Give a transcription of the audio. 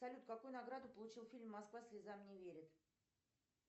салют какую награду получил фильм москва слезам не верит